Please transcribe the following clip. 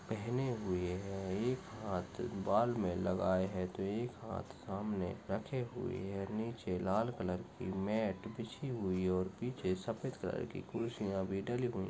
पहने हुए है। एक हात बाल मे लगाए है। तो एक हात सामने रखे हुए है। नीचे लाल कलर की मैट बिच्छी हुई और पिच्छे सफ़ेद कलर की खुर्चिया भी ढली हुई--